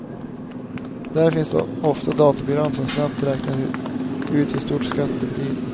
Där finns ofta dataprogram, som snabbt räknar ut hur stor skatten blir.